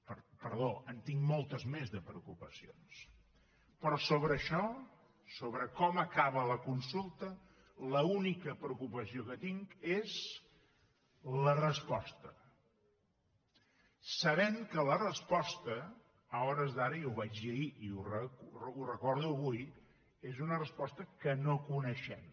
perdó en tinc moltes més de preocupacions però sobre això sobre com acaba la consulta l’única preocupació que tinc és la resposta sabent que la resposta a hores d’ara i ho vaig dir ahir i ho recordo avui és una resposta que no coneixem